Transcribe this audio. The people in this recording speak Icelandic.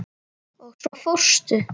Og svo fórstu.